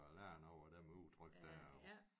Og lære noget af det med udtryk dér